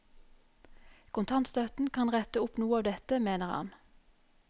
Kontantstøtten kan rette opp noe av dette, mener han.